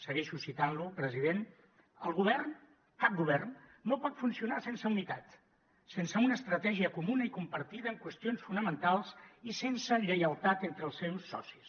segueixo citant lo president el govern cap govern no pot funcionar sense unitat sense una estratègia comuna i compartida en qüestions fonamentals i sense lleialtat entre els seus socis